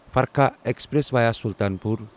Farakka express via Sultanpur